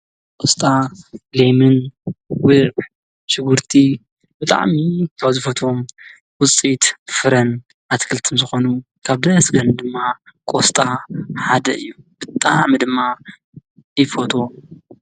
ቁስጣ፣ ለሚን፣ ጉዕ ፣ሺጉርቲ ብጣዕሚ ካብ ዝፈትዎም ዉፅእት ፍርን ኣትክልት ዝኾኑ ካብ ደስ ዝብላኒ ድማ ቁስጣ ሓደ እዩ፡፡ ብጣዕሚ ድማ ይፎትዎ፡፡